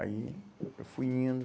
Aí eu fui indo.